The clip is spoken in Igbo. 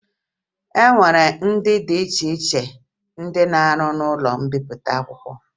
E nwere ndị dị iche iche na-arụ n'ụlọ mbipụta akwụkwọ